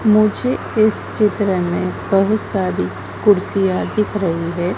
मुझे इस चित्र में बहुत सारी कुर्सियां दिख रही है।